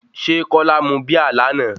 Ṣé Kọ́lá mu Bíà lánàá?